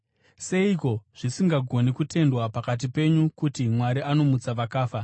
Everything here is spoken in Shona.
Seiko zvisingagoni kutendwa pakati penyu kuti Mwari anomutsa vakafa?